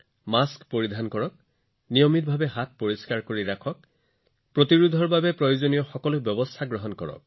mask পিন্ধিব নিয়মীয়া ব্যৱধান পালন কৰিবহাত ধুব প্ৰতিৰোধৰ বাবে যি প্ৰয়োজনীয় ব্যৱস্থা আছে সেয়া অনুসৰণ কৰিব